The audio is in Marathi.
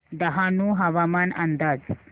डहाणू हवामान अंदाज